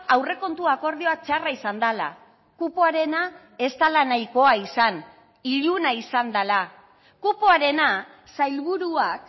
aurrekontu akordioa txarra izan dela kupoarena ez dela nahikoa izan iluna izan dela kupoarena sailburuak